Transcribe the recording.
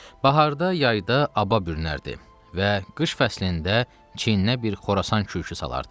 Baharda, yayda aba bürünərdi və qış fəslində çiyininə bir Xorasan kürk salardı.